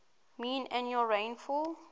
mean annual rainfall